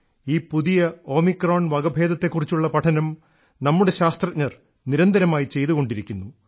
ഈ പുതിയ ഓമിക്രോൺ വകഭേദത്തെക്കുറിച്ചുള്ള പഠനം നമ്മുടെ ശാസ്ത്രജ്ഞർ നിരന്തരമായി ചെയ്തുകൊണ്ടിരിക്കുന്നു